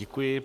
Děkuji.